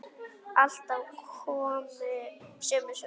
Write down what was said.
Alltaf komu sömu svör.